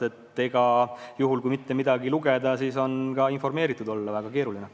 Ja juhul, kui mitte midagi lugeda, siis on informeeritud olla väga keeruline.